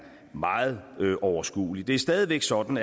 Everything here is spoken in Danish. meget overskuelig det er stadig væk sådan